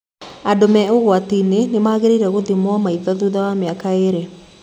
Andũ me ũgwati-inĩ wnĩmangĩrĩire gũthimo maitho thutha wa mĩaka ĩrĩ.